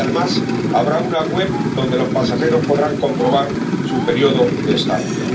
Y, además, habrá un sitio web donde los pasajeros podrán comprobar su período de estancia.